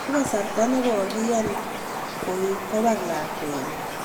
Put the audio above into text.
ako kasaita nekokiyan koek kopar lakwet nyi